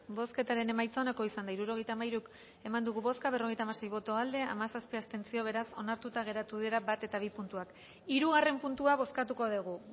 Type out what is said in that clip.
bozketaren emaitza onako izan da hirurogeita hamairu eman dugu bozka berrogeita hamasei boto aldekoa hamazazpi abstentzio beraz onartuta geratu dira bat eta bi puntuak hirugarren puntua bozkatuko dugu